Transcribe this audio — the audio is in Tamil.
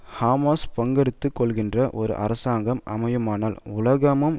ஹமாஸ் பங்கெடுத்து கொள்கின்ற ஒரு அரசாங்கம் அமையுமானால் உலகமும்